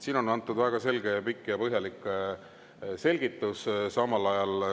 " Siin on antud väga selge, pikk ja põhjalik selgitus.